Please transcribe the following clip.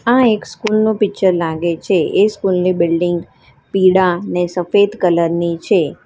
આ એક સ્કૂલ નું પિક્ચર લાગે છે એ સ્કૂલ ની બિલ્ડીંગ પીળા ને સફેદ કલર ની છે.